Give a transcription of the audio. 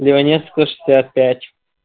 леваневского шестьдесят пять